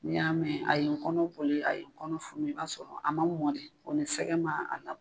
N'i y'a mɛn a ye n kɔnɔ boli a ye n kɔnɔ funu i b'a sɔrɔ a ma mɔn de o ni sɛgɛ ma a labɔ.